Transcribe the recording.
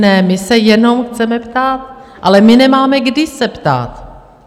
Ne, my se jenom chceme ptát, ale my nemáme kdy se ptát.